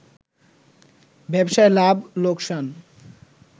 ব্যবসায় লাভ লোকসান